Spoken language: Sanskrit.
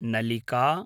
नलिका